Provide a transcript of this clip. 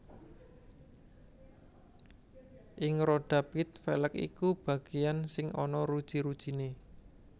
Ing rodha pit velg iku bagéyan sing ana ruji rujiné